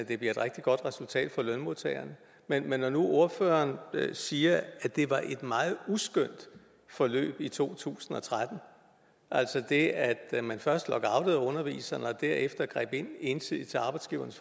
at det bliver et rigtig godt resultat for lønmodtagerne men når nu ordføreren siger at det var et meget uskønt forløb i to tusind og tretten altså det at man først lockoutede underviserne og derefter greb ind ensidigt til arbejdsgivernes